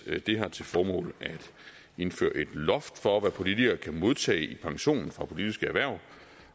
har til formål at indføre et loft for hvad politikere kan modtage i pension for politiske hverv